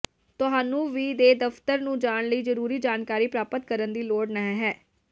ਤੁਹਾਨੂੰ ਵੀ ਦੇ ਦਫ਼ਤਰ ਨੂੰ ਜਾਣ ਲਈ ਜ਼ਰੂਰੀ ਜਾਣਕਾਰੀ ਪ੍ਰਾਪਤ ਕਰਨ ਦੀ ਲੋੜ ਨਹ ਹੈ